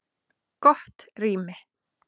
Gott rými